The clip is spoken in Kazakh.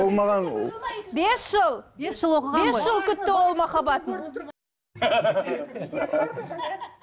ол маған бес жыл бес жыл оқыған ғой бес жыл күтті ол махаббатын